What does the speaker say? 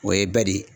O ye ba de ye